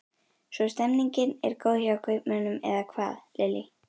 Svo stemningin er góð hjá kaupmönnum eða hvað Lillý?